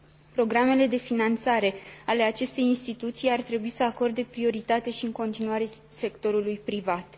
Programele de finanțare ale acestei instituții ar trebui să acorde prioritate și în continuare sectorului privat.